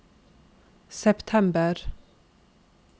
september